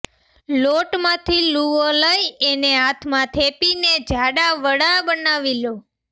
લોટમાંથી લૂવો લઈ એને હાથમાં થેપીને જાડાં વડાં બનાવી લો